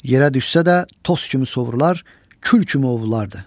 Yerə düşsə də, toz kimi sovrular, kül kimi ovrulardı.